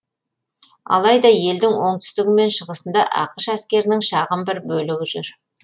алайда елдің оңтүстігі мен шығысында ақш әскерінің шағын бір бөлігі жүр